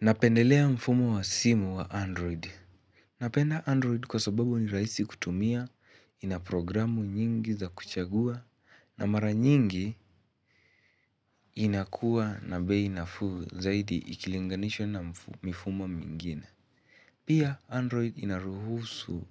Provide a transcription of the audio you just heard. Napendelea mfumo wa simu wa Android. Napenda Android kwa sababu ni rahisi kutumia, ina programu nyingi za kuchagua, na mara nyingi inakuwa na bei nafuu zaidi ikilinganishwa na mifumo mingine. Pia Android inaruhusu